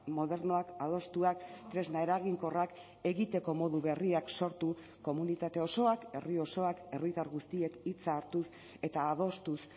modernoak adostuak tresna eraginkorrak egiteko modu berriak sortu komunitate osoak herri osoak herritar guztiek hitza hartuz eta adostuz